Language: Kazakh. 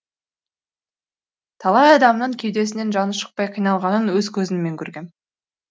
талай адамның кеудесінен жаны шықпай қиналғанын өз көзіммен көргем